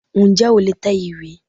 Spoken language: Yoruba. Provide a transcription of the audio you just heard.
N jẹ́ o lè tẹ ìwé